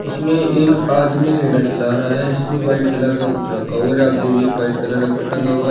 इसमें एक आदमी रेडा चला रहा है जिसमें व्हाइट कलर का कुछ रखा हुआ और आगे भी एक व्हाइट कलर का टंगा हुआ--